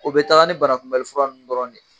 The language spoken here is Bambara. O bɛ taga ni banakunbɛli fura ninnu dɔrɔn de ye